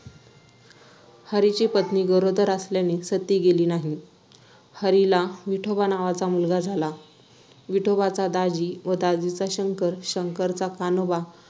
हरीची पत्नी गरोदर असल्याने सती गेली नाही. हरीला विठोबा नावाचा मुलगा झाला. विठोबाचा दाजी व दाजीचा शंकर, शंकरचा कान्होबा,